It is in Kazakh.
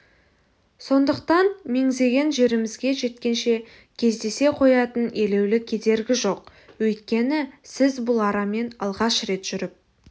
сондықтан меңзеген жерімізге жеткенше кездесе қоятын елеулі кедергі жоқ өйткені сіз бұл арамен алғаш рет жүріп